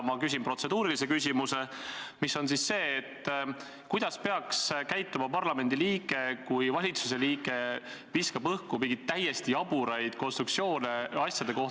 Ma küsin siis protseduurilise küsimuse, mis on see: kuidas peaks käituma parlamendi liige, kui valitsuse liige viskab õhku mingeid täiesti jaburaid konstruktsioone asjade kohta ...